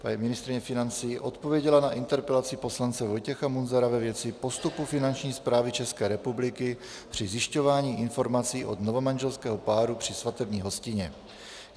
Paní ministryně financí odpověděla na interpelaci poslance Vojtěcha Munzara ve věci postupu Finanční správy České republiky při zjišťování informací od novomanželského páru při svatební hostině.